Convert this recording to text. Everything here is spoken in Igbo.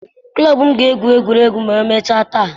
Klọb m ga-egwu egwu ma emechaa taa.